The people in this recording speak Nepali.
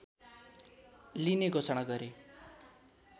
लिने घोषणा गरे